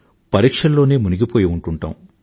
పరీక్షల్లోనే మునిగిపోయి ఉంటూంటాం